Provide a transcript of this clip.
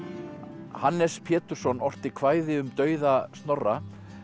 Hannes Pétursson orti kvæði um dauða Snorra